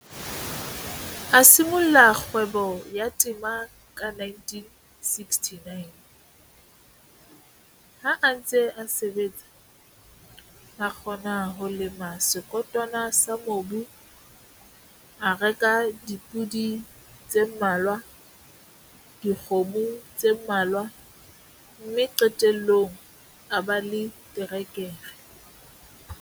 A simolla kgwebo ya temo ka 1969. Ha a ntse a sebetsa, a kgona ho lema sekotwana sa mobu, a reka dipodi tse mmalwa, dikgomo tse mmalwa, mme qetellong a ba le terekere.